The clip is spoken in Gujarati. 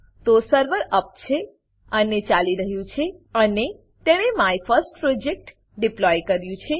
તો સર્વર અપ છે અને ચાલી રહ્યું છે અને તેણે my first project my first project deploy કર્યું છે